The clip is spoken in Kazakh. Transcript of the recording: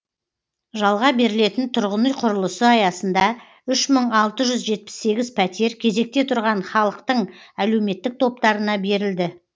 жалға берілетін тұрғын үй құрылысы аясында үш мың алты жүз жетпіс сегіз пәтер кезекте тұрған халықтың әлеуметтік топтарына берілді